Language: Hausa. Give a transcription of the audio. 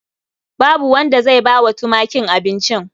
Babu wanda zai bawa tumakin abincin.